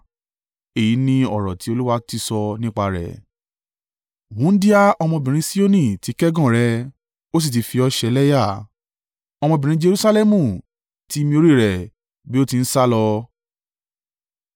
èyí ni ọ̀rọ̀ tí Olúwa ti sọ nípa rẹ̀: “Wúńdíá ọmọbìnrin Sioni ti kẹ́gàn rẹ, ó sì ti fi ọ ṣe ẹlẹ́yà. Ọmọbìnrin Jerusalẹmu ti mi orí rẹ̀ bí ó ti ń sálọ.